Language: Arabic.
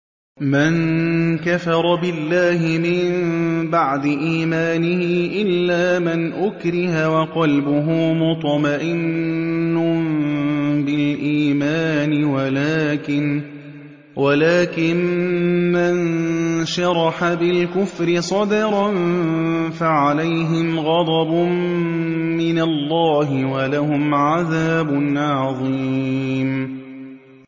مَن كَفَرَ بِاللَّهِ مِن بَعْدِ إِيمَانِهِ إِلَّا مَنْ أُكْرِهَ وَقَلْبُهُ مُطْمَئِنٌّ بِالْإِيمَانِ وَلَٰكِن مَّن شَرَحَ بِالْكُفْرِ صَدْرًا فَعَلَيْهِمْ غَضَبٌ مِّنَ اللَّهِ وَلَهُمْ عَذَابٌ عَظِيمٌ